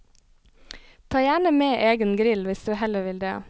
Ta gjerne med egen grill hvis du heller vil det.